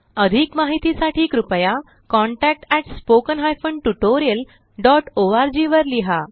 अधिक माहिती साठी कृपया contactspoken tutorialorg वर लिहा